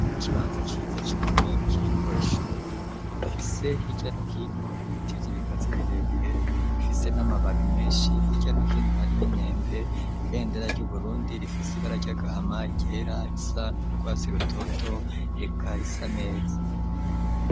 Ikibanza ciza cane kiriko ishuri rifise hirya no hino ibiti vy'ibigazi birebire bifise n'amababi meshi hirya no hino hari n'imyembe ibendera ryu Burundi rifise ibara ry'agahama iryera irisa n'urwatsi rutoto eka risa neza.